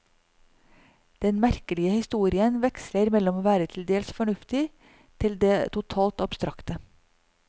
Den merkelige historien veksler mellom å være til dels fornuftig, til det totalt abstrakte.